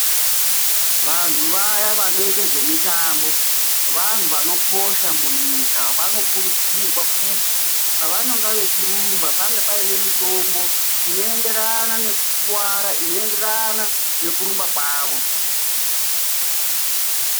Vantu vaya vanoite zvemitambo, vanhu vanokosha munyika. Vanokurudzirwa kuti pavanonga vechirumba pange paine mitombo inoenderana nekukuwara, inoenderana nekurumba kwavo.